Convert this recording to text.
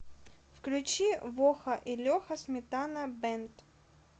включи воха и леха сметана бэнд